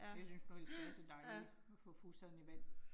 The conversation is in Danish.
Jeg synes nu ellers det er så dejligt, at få fusserne i vand